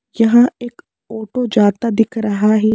यहां एक ऑटो जाता दिख रहा है।